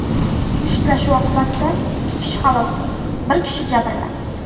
Mushtlashuv oqibatida ikki kishi halok bo‘ldi, bir kishi jabrlandi.